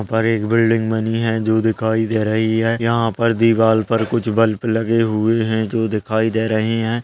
और एक बिल्डिंग बनी है जो दिखाई दे रही है यहाँ पर दीवार पर कुछ बल्ब लगे हुए हैं जो दिखाई दे रहे हैं।